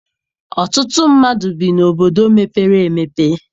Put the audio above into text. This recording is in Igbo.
Ọtụtụ mmadụ bi n'obodo mepere emepe